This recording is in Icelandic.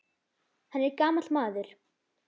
Hann er gamall maður.